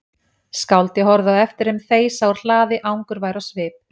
Skáldið horfði á eftir þeim þeysa úr hlaði angurvær á svip.